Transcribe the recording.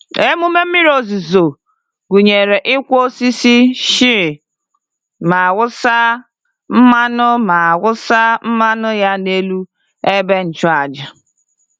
Emume mmiri ozuzo gụnyere ịkwọ osisi shea ma wụsa mmanụ ma wụsa mmanụ ya n'elu ebe ịchụàjà.